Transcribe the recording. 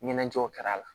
Ɲɛnajɛw kɛra a la